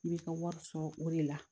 I bɛ ka wari sɔrɔ o de la